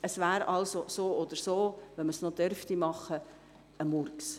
Es wäre also so oder so – auch wenn man dies dürfte – ein Murks.